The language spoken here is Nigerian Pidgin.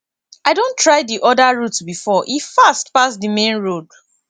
i don try di other route before e fast pass di main road